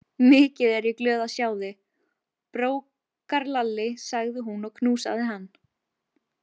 Mikið er ég glöð að sjá þig, brókarlalli, sagði hún og knúsaði hann.